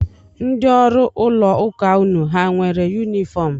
Ndị ọrụ ụlọụka unu hà nwere yunifọm?